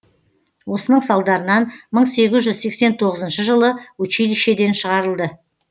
осының салдарынан мың сегіз жүз сексен тоғызыншы жылы училищеден шығарылды